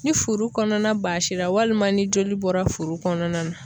Ni furu kɔnɔna baasi la walima ni joli bɔra furu kɔnɔna na